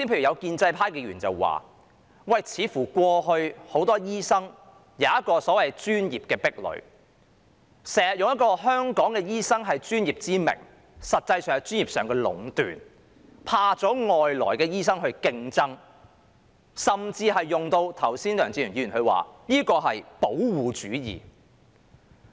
有建制派議員剛才指出，過去似乎很多醫生均有一個所謂的專業壁壘，經常以"香港醫生是專業"為名，實際上是專業上的壟斷，害怕外來醫生的競爭，甚至梁志祥議員剛才說這是"保護主義"。